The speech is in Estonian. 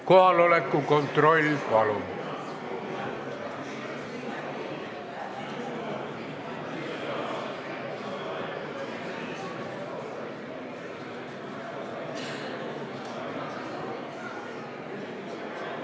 Kohaloleku kontroll, palun!